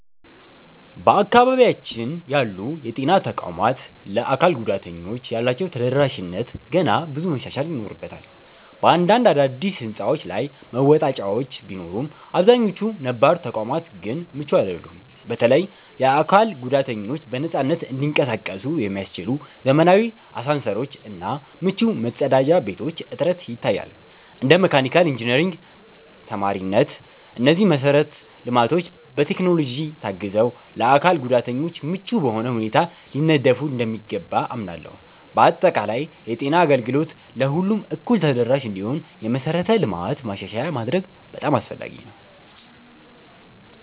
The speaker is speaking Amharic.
በአካባቢያችን ያሉ የጤና ተቋማት ለአካል ጉዳተኞች ያላቸው ተደራሽነት ገና ብዙ መሻሻል ይኖርበታል። በአንዳንድ አዳዲስ ሕንፃዎች ላይ መወጣጫዎች ቢኖሩም፣ አብዛኛዎቹ ነባር ተቋማት ግን ምቹ አይደሉም። በተለይም የአካል ጉዳተኞች በነፃነት እንዲንቀሳቀሱ የሚያስችሉ ዘመናዊ አሳንሰሮች እና ምቹ መጸዳጃ ቤቶች እጥረት ይታያል። እንደ መካኒካል ኢንጂነሪንግ ተማሪነቴ፣ እነዚህ መሰረተ ልማቶች በቴክኖሎጂ ታግዘው ለአካል ጉዳተኞች ምቹ በሆነ ሁኔታ ሊነደፉ እንደሚገባ አምናለሁ። በአጠቃላይ፣ የጤና አገልግሎት ለሁሉም እኩል ተደራሽ እንዲሆን የመሠረተ ልማት ማሻሻያ ማድረግ አስፈላጊ ነው።